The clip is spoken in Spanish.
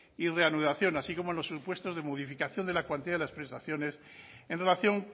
y reanudación así como en los supuestos de modificación de la cuantía de las prestaciones en relación